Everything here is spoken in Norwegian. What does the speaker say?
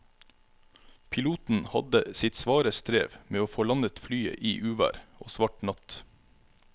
Piloten hadde sitt svare strev med å få landet flyet i uvær og svart natt.